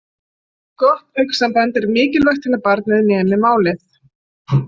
Gott augnsamband er mikilvægt til að barnið nemi málið.